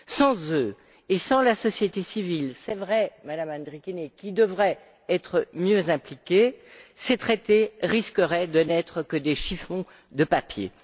Sans eux, et sans la société civile, c'est vrai, MadameAndrikienė, qui devrait être mieux impliquée, ces traités risqueraient de n'être que des chiffons de papier.